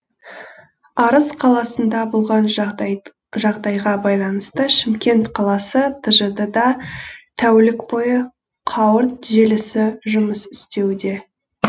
арыс қаласында болған жағдайға байланысты шымкент қаласы тжд да тәулік бойы қауырт желісі жұмыс істеуде